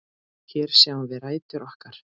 Hér sjáum við rætur okkar.